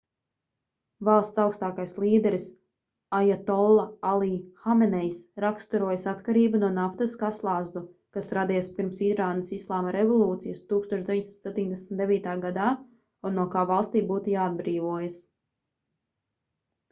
valsts augstākais līderis ajatolla alī hamenejs raksturojis atkarību no naftas kā slazdu kas radies pirms irānas islāma revolūcijas 1979. gadā un no kā valstij būtu jāatbrīvojas